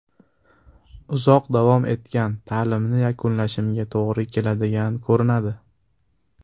Uzoq davom etgan ta’tilimni yakunlashimga to‘g‘ri keladigan ko‘rinadi.